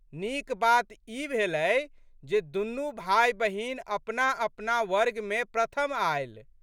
नीक बात ई भेलै जे दुनू भाइबहिन अपनाअपना वर्गमे प्रथम आयल।